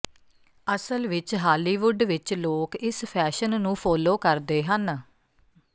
ਅਸਲ ਵਿਚ ਹਾਲੀਵੁੱਡ ਵਿਚ ਲੋਕ ਇਸ ਫੈਸ਼ਨ ਨੂੰ ਫੋਲੋ ਕਰਦੇ ਹਨ